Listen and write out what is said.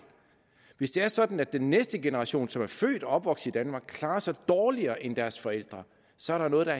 hvis det er sådan at den næste generation som er født og opvokset i danmark klarer sig dårligere end deres forældre så er der noget der